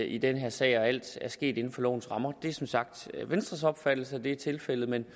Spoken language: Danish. i denne sag og at alt er sket inden for lovens rammer det er som sagt venstres opfattelse at det er tilfældet men